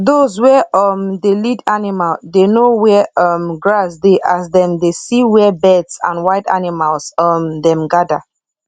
dos wey um dey lead animal dey know where um grass dey as dem dey see where birds and wild animals um dem gather